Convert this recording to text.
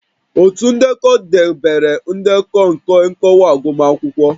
Otu ndekọ debere ndekọ nke nkọwa agụmakwụkwọ